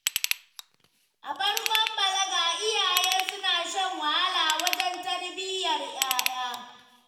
A farkon balaga, iyaye suna shan wahala wajen tarbiyyar 'ya'ya.